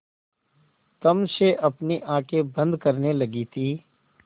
तम से अपनी आँखें बंद करने लगी थी